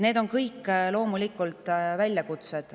Need on kõik väljakutsed.